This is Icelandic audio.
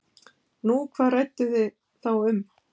Nú, hvað rædduð ið þá um?